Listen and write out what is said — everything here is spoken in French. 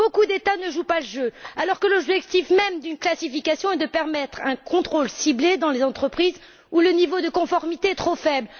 Beaucoup d'États ne jouent pas le jeu, alors que l'objectif même d'une classification est de permettre un contrôle ciblé dans les entreprises où le niveau de conformité est trop faible.